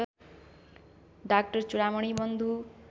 डा चूडामणि बन्धु